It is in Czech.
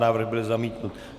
Návrh byl zamítnut.